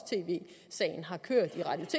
tv sagen har kørt